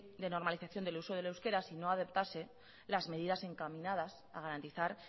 de normalización del uso del euskera si no adoptase las medidas encaminadas a garantizar